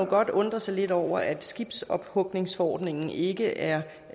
godt undre sig lidt over at skibsophugningsforordningen ikke er